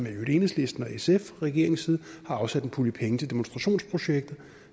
i øvrigt enhedslisten og sf fra regeringens side har afsat en pulje penge til demonstrationsprojekter